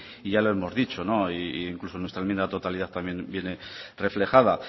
y ya lo hemos dicho no e incluso en nuestra enmienda a la totalidad también viene reflejada